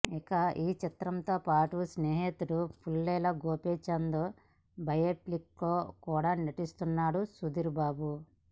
ఇక ఈ చిత్రంతో పాటు తన స్నేహితుడు పుల్లెల గోపిచంద్ బయోపిక్లో కూడా నటిస్తున్నాడు సుధీర్ బాబు